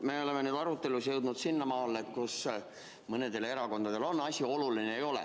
Me oleme arutelus jõudnud sinnamaale, et mõnele erakonnale on asi oluline, mõnele ei ole.